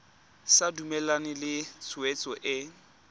sa dumalane le tshwetso e